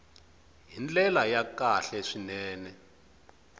hi ndlela ya kahle swinene